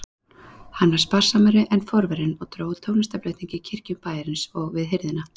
Hann var sparsamari en forverinn og dró úr tónlistarflutningi í kirkjum bæjarins og við hirðina.